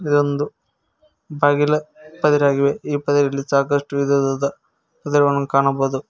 ಇದು ಒಂದು ಬಾಗಿಲ ಪದರ ಆಗಿವೆ ಈ ಪದರಿನಲ್ಲಿ ಸಾಕಷ್ಟು ವಿಧವಾದ ಕಾಣಬಹುದು.